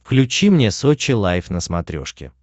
включи мне сочи лайф на смотрешке